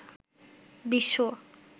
বিশ্ব